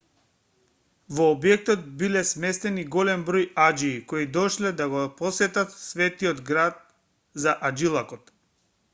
во објектот биле сместени голем број аџии кои дошле да го посетат светиот град за аџилакот